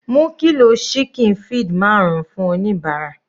Mú kilo ṣíkìn feed marun fún oníbàárà.